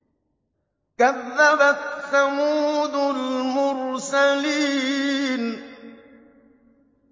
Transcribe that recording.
كَذَّبَتْ ثَمُودُ الْمُرْسَلِينَ